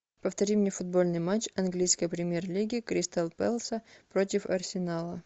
повтори мне футбольный матч английской премьер лиги кристал пэлас против арсенала